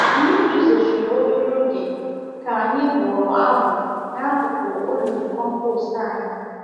Mmiri zochiri obere oge ka anyị bụrụ abụ n'akụkụ olulu compost anyị.